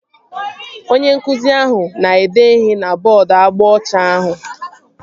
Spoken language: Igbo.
Onye nkụzi ahụ na-ede ihe na bọọdu agba ọcha ahụ